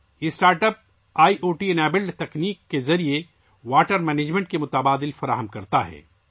یہ startup I O T والی تکنیک کے ذریعے پانی کے بندوبست کو فروغ دیتا ہے